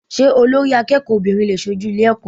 Sé Olórí akéèkòó obìnrin lè sojú Ilé eko?